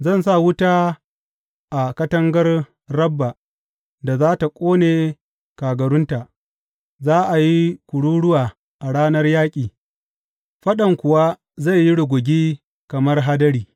Zan sa wuta a katangar Rabba da za tă ƙone kagarunta za a yi kururuwa a ranar yaƙi, faɗan kuwa zai yi rugugi kamar hadiri.